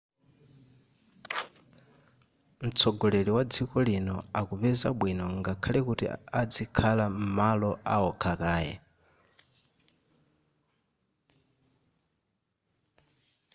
mtsogoleri wa dziko lino akupeza bwino ngakhale kuti adzikhala m'malo aokha kaye